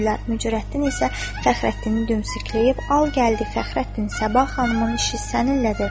Mücərrəttin isə Fəxrəddini dümsükləyib, "al gəldi, Fəxrəddin, Sabah xanımın işi səninlədir" dedi.